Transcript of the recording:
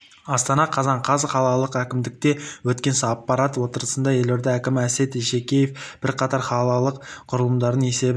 астана қазан қаз қалалық әкімдікте өткен аппарат отырысында елорда әкімі әсет исекешев бірқатар қалалық құрылымдардың есебін